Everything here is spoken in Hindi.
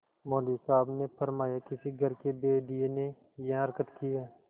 मौलवी साहब ने फरमाया किसी घर के भेदिये ने यह हरकत की है